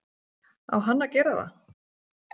Á hann að gera það?